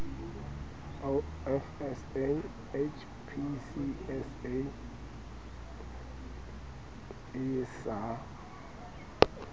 of sa hpcsa e sa